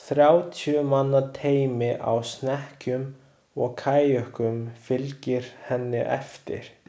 Þrjátíu manna teymi á snekkjum og kajökum fylgir henni eftir.